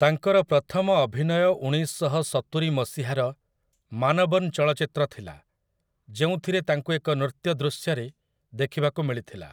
ତାଙ୍କର ପ୍ରଥମ ଅଭିନୟ ଉଣେଇଶଶହ ସତୁରି ମସିହାର 'ମାନବନ୍' ଚଳଚ୍ଚିତ୍ର ଥିଲା, ଯେଉଁଥିରେ ତାଙ୍କୁ ଏକ ନୃତ୍ୟ ଦୃଶ୍ୟରେ ଦେଖିବାକୁ ମିଳିଥିଲା ।